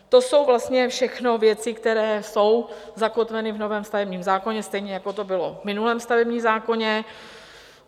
To jsou vlastně všechno věci, které jsou zakotveny v novém stavebním zákoně, stejně jako to bylo v minulém stavebním zákoně.